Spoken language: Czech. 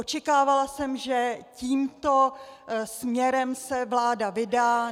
Očekávala jsem, že tímto směrem se vláda vydá.